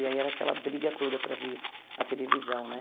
E aí era aquela briga toda para ver a televisão, né?